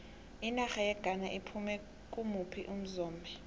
inarha yeghana iphume kimuphi umzombe